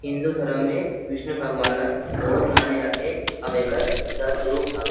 हिन्दू धर्म में विष्णु भगवान ला बहुत माने जा थे अऊ एकर दस रूप हवे।